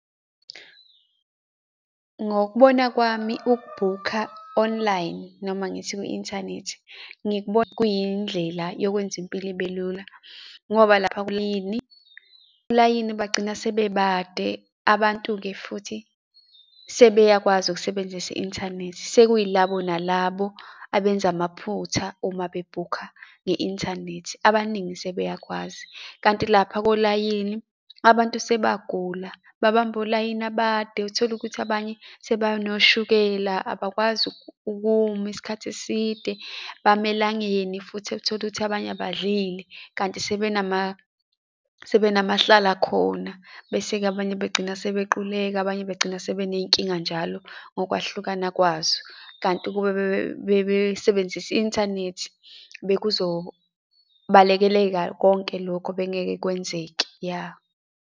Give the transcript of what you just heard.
Ngokubona kwami ukubhukha online, noma ngithi kwi-inthanethi, ngikubona kuyindlela yokwenza impilo ibe lula ngoba, lapha kulayini, olayini bagcina sebebade, abantu-ke futhi sebeyakwazi ukusebenzisa i-inthanethi sekuyilabo nalabo abenza amaphutha uma bebhukha nge-inthanethi, abaningi sebeyakwazi. Kanti lapha kolayini, abantu sebagula, babamba olayini abade, uthole ukuthi abanye sebanoshukela, abakwazi ukuma isikhathi eside, bama elangene futhi uthole ukuthi abanye abadlile, kanti sebenama, sebenamahlalakhona, bese-ke abanye bagcina sebequleka, abanye bagcina sebeney'nkinga njalo ngokwehlukana kwazo, kanti ukube bebesebenzisa i-inthanethi, bekuzobalekeleka konke lokhu bengeke kwenzeke, ya.